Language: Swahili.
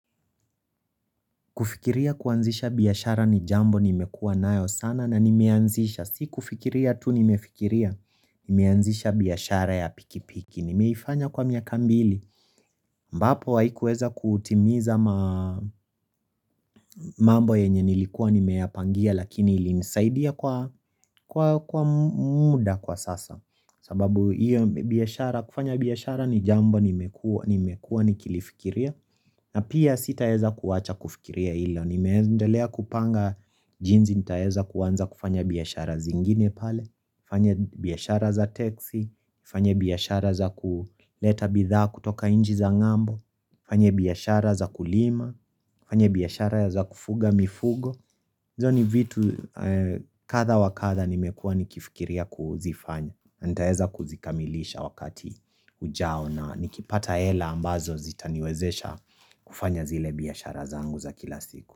Kufikiria kuanzisha biashara ni jambo ni mekua nayo sana na nimeanzisha, si kufikiria tu nimefikiria, nimeanzisha biashara ya pikipiki, nimeifanya kwa miaka mbili, ambapo haikuweza kutimiza mambo yenye nilikuwa ni meyapangia lakini ilinisaidia kwa muda kwa sasa, sababu kufanya biyashara ni jambo nimekua nikilifikiria, na pia sitaweza kuwacha kufikiria hilo. Nimeendelea kupanga jinsi nitaweza kuanza kufanya biashara zingine pale fanya biashara za teksi fanya biashara za kuleta bidhaa kutoka inchi za ng'ambo fanya biyashara za kulima fanya biashara za kufuga mifugo hizo ni vitu kadhan wa kadha nimekua nikifikiria kuzifanya nitaweza kuzikamilisha wakati ujao na nikipata hela ambazo zitaniwezesha kufanya zile biashara zangu za kila siku.